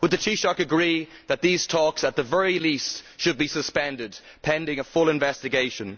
Would the Taoiseach agree that these talks, at the very least, should be suspended, pending a full investigation?